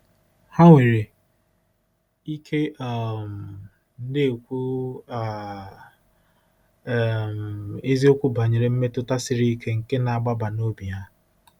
Ha nwere ike um na-ekwu um um eziokwu banyere mmetụta siri ike nke na-agbaba n'obi ha.